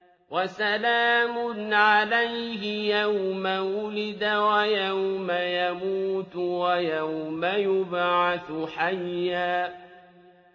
وَسَلَامٌ عَلَيْهِ يَوْمَ وُلِدَ وَيَوْمَ يَمُوتُ وَيَوْمَ يُبْعَثُ حَيًّا